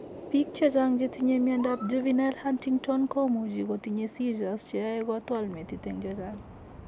Pik chechang che tinye miondap Juvenile Huntington Komuche Kotiche seizures che yoe Kotwale metit en chechang.